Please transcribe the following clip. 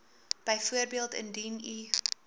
byvoorbeeld indien u